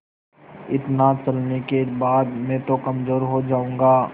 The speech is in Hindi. इतना चलने के बाद मैं तो कमज़ोर हो जाऊँगा